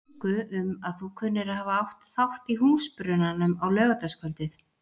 ingu um að þú kunnir að hafa átt þátt í húsbrunanum á laugardagskvöldið.